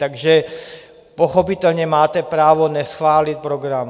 Takže pochopitelně máte právo neschválit program.